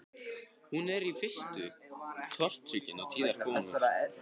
Hún er í fyrstu tortryggin á tíðar komur